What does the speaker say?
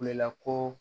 Kulela ko